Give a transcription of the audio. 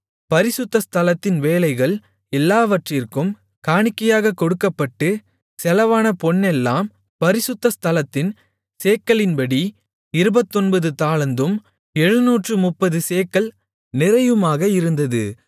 பரிசுத்த ஸ்தலத்தின் வேலைகள் எல்லாவற்றிற்கும் காணிக்கையாகக் கொடுக்கப்பட்டுச் செலவான பொன்னெல்லாம் பரிசுத்த ஸ்தலத்தின் சேக்கலின்படி இருபத்தொன்பது தாலந்தும் எழுநூற்று முப்பது சேக்கல் நிறையுமாக இருந்தது